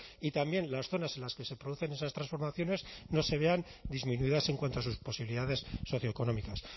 y también las zonas en las que se producen esas transformaciones no se vean disminuidas en cuanto a sus posibilidades socioeconómicas